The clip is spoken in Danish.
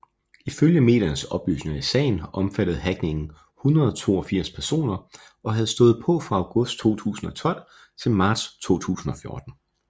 I følge mediernes oplysninger i sagen omfattede hackningen 182 personer og havde stået på fra august 2012 til marts 2014